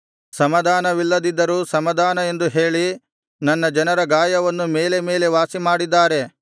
ಸಮಾಧಾನವಿಲ್ಲದಿದ್ದರೂ ಸಮಾಧಾನ ಎಂದು ಹೇಳಿ ನನ್ನ ಜನರ ಗಾಯವನ್ನು ಮೇಲೆ ಮೇಲೆ ವಾಸಿಮಾಡಿದ್ದಾರೆ